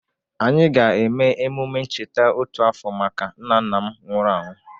Anyị ga-eme emume ncheta otu afọ maka nna nna m nwụrụ anwụ.